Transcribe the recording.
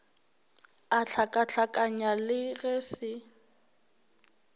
a hlakahlakanya le ge se